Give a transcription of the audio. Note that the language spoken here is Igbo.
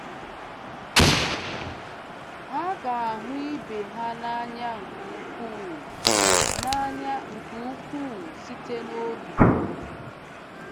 Ha ga- "ahụ ibe ha n'anya nke ukwuu n'anya nke ukwuu site n'obi."